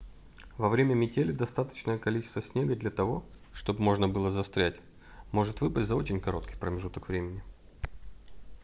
во время метели достаточное количество снега для того чтобы можно было застрять может выпасть за очень короткий промежуток времени